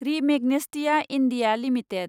रि Magnesita India limited